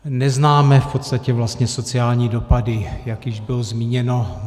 Neznáme v podstatě vlastně sociální dopady, jak již bylo zmíněno.